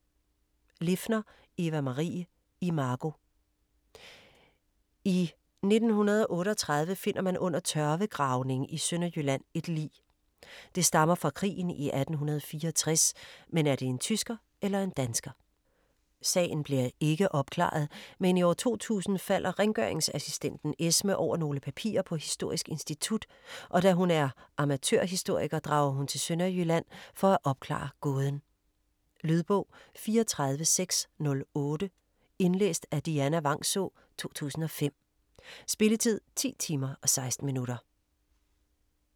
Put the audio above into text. Liffner, Eva-Marie: Imago I 1938 finder man under tørvegravning i Sønderjylland et lig. Det stammer fra krigen i 1864, men er det en tysker eller en dansker? Sagen bliver ikke opklaret, men i 2000 falder rengøringsassistenten Esme over nogle papirer på Historisk Institut, og da hun er amatørhistoriker drager hun til Sønderjylland for at opklare gåden. Lydbog 34608 Indlæst af Dianna Vangsaa, 2005. Spilletid: 10 timer, 16 minutter.